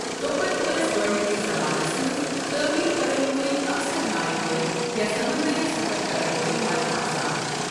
تۄپتہٕ ٲسۍ گۄڈٕنکِس زمانَس منٛز تٲمیر کرَن وٲلۍ اکثر نایہِ وٲلۍ یا سَمنٛدری سفر کرَنَ وٲلۍ مرد آسان۔